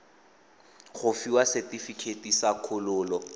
go fiwa setefikeiti sa kgololo